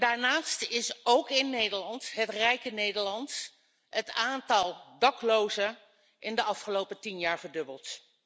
Daarnaast is ook in Nederland, het rijke Nederland, het aantal daklozen in de afgelopen tien jaar verdubbeld.